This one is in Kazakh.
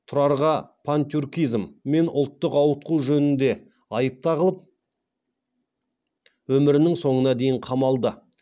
тұрарға пантюркизм мен ұлттық ауытқу жөнінде айып тағылып өмірінің соңына дейін қамалды